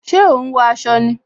Ṣé o ń wọ aṣọ ni?